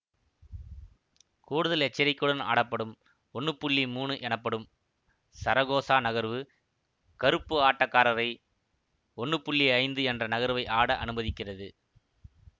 கூடுதல் எச்சரிக்கையுடன் ஆடப்படும் ஒன்னு புள்ளி மூனு எனப்படும் சரகோசா நகர்வு கருப்பு ஆட்டக்காரரை ஒன்னு புள்ளி ஐந்து என்ற நகர்வை ஆட அனுமதிக்கிறது